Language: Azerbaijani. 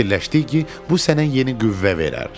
Fikirləşdik ki, bu sənə yeni qüvvə verər.